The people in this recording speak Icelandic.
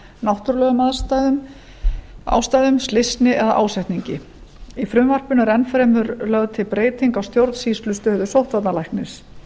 náttúrulegum ástæðum slysni eða ásetningi í frumvarpinu er enn fremur lögð til breyting á stjórnsýslustöðu sóttvarnalæknis